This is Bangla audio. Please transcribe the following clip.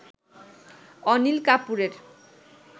অনিল কাপুরের